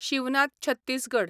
Shivnath Chhattisgarh